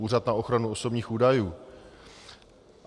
Úřad na ochranu osobních údajů.